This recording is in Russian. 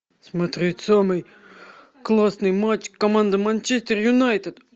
смотреть самый классный матч команды манчестер юнайтед